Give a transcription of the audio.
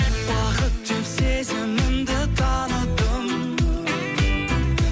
бақыт деп сезімімді таныдым